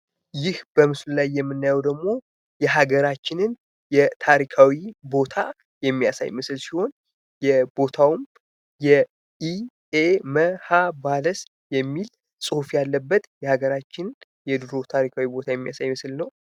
ይህ በምስሉ ላይ የምናየው የሀገራችንን ታሪካዊ ቦታ የሚያሳይ ምስል ሲሆን ቦታው የ ኢ. ኤ .ኅ ባልስ የሚል ፅሁፍ ያለበት የሚያሳይ ታሪካዊ ምስል ነው ።